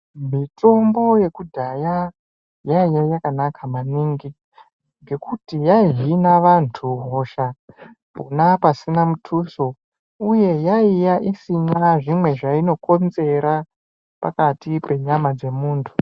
Mitombo yekudhaya yaiya yakanaka maningi ngekuti yaihina vantu hosha pona pasina mutuso uye yaiya isina zvimwe zvainokonzera pakati penyama dzemuntu.